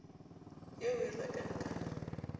eo o e rekang ka